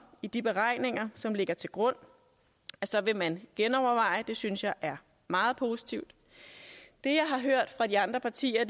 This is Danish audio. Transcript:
i de beregninger som ligger til grund vil man genoverveje det synes jeg er meget positivt det jeg har hørt fra de andre partier